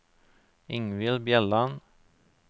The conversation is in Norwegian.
Ingvild Bjelland